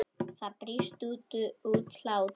Það brýst út hlátur.